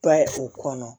Ba u kɔnɔ